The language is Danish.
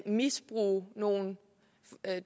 misbruge nogle